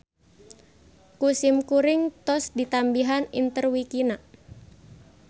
Ku simkuring tos ditambihan interwikina.